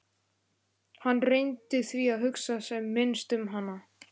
Hann reyndi því að hugsa sem minnst um hana.